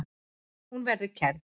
Hún verði kærð.